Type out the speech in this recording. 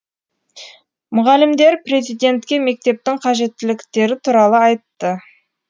мұғалімдер президентке мектептің қажеттіліктері туралы айтты